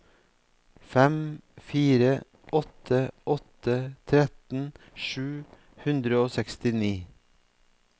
fem fire åtte åtte tretten sju hundre og sekstini